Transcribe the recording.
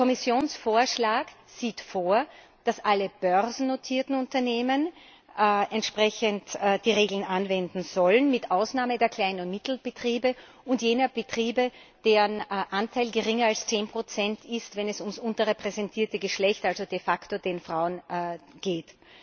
Der Kommissionsvorschlag sieht vor, dass alle börsennotierten Unternehmen entsprechende Regeln anwenden sollen, mit Ausnahme der Klein und Mittelbetriebe und jener Betriebe, deren Anteil geringer als 10 ist, wenn es um das unterrepräsentierte Geschlecht also de facto die Frauen geht.